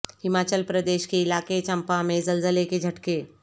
ہماچل پردیش کے علاقہ چمبا میں زلزلے کے جھٹکے